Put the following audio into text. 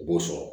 U b'o sɔn